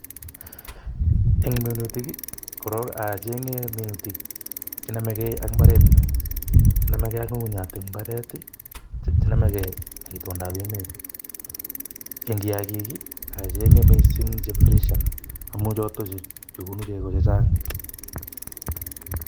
Eng minutik koran acheng'ei minutik che nomegei ak imbaret nyu